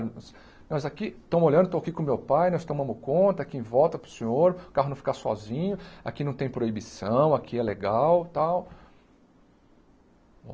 Nós aqui, estamos olhando, estou aqui com meu pai, nós tomamos conta, aqui em volta para o senhor, o carro não ficar sozinho, aqui não tem proibição, aqui é legal e tal.